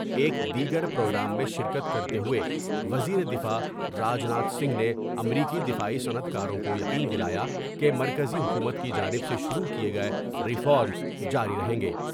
ایک دیگر پروگرام میں شرکت کرتے ہوئے وزیر دفاع راج ناتھ سنگھ نے امریکی دفاعی صنعت کاروں کو یقین دلا یا کہ مرکزی حکومت کی جانب سے شروع کئے گئے ریفارمس جاری رہیں گے ۔